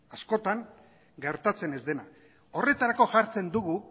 askotan gertatzen ez dena horretarako jartzen dugu